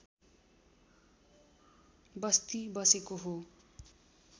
बस्ती बसेको हो